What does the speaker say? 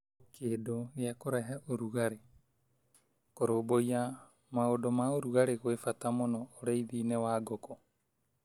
Kĩndũ gĩa kũrehe ũrugarĩ: Kũrũmbũiya maundũ ma ũrugarĩ kwĩ bata mũno ũrĩithi -inĩ wa ngũkũ.